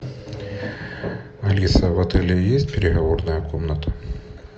алиса в отеле есть переговорная комната